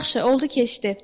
Yaxşı, oldu ki, deşdi.